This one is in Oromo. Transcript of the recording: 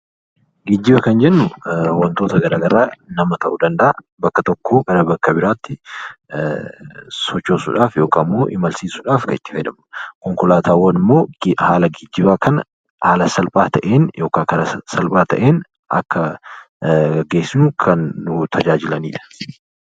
Geejjiba Kan jennuu waantota garaagaraa nama ta'uu danda'a bakka tokkoo gara bakka biraatti sochoosuudhaaf yookaan immoo imalsiisuudhaaf Kan itti fayyadamnudha. Konkolaataawwan immoo haala geejjibaa kana haala salphaa ta'een yookaan Kara salphaa ta'een akka geessu Kan nu tajaajilanidha.